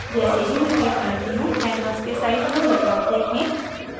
जैसे ही मैं click करती हूँ canvas के size में बदलाव देखें